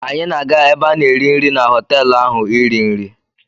Anyị na-aga ebe a na-eri nri na họtelụ ahụ iri nri.